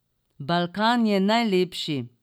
Balkan je najlepši.